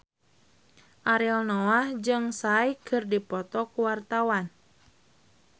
Ariel Noah jeung Psy keur dipoto ku wartawan